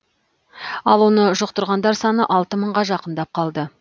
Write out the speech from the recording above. ал оны жұқтырғандар саны алты мыңға жақындап қалды